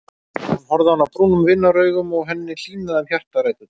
Hann horfði á hana brúnum vinaraugum og henni hlýnaði um hjartaræturnar.